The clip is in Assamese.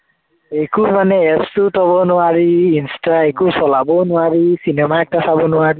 একো মানে এপচো চলাব নোৱাৰি, ইন্সটা একো চলাব নোৱাৰি, cinema এটা চাব নোৱাৰি